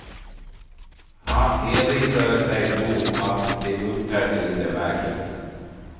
Han erinrade sig då att de uppträdde lite märkligt.